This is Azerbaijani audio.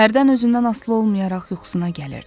Hərdən özündən asılı olmayaraq yuxusuna gəlirdi.